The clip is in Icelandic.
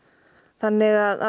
þannig að